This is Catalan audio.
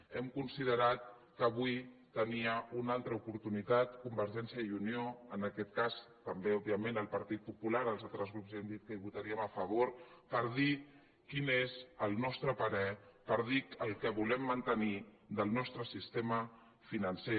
hem con·siderat que avui tenia una altra oportunitat conver·gència i unió en aquest cas també òbviament el partit popular els altres grups ja han dit que hi votarien a favor per dir quin és el nostre parer per dir el que volem mantenir del nostre sistema financer